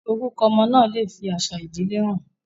Orúkọ ọmọ náà lè fi àṣà ìdílé han